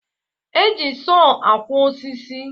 E ji soọ akwo osisi